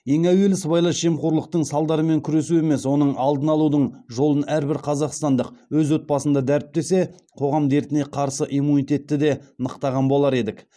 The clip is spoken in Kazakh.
ең әуелі сыбайлас жемқорлықтың салдарымен күресу емес оның алдын алудың жолын әрбір қазақстандық өз отбасында дәріптесе қоғам дертіне қарсы иммунитетті де нықтаған болар едік